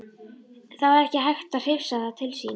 Það var ekki hægt að hrifsa það til sín.